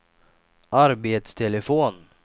arbetstelefon